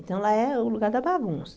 Então, lá é o lugar da bagunça.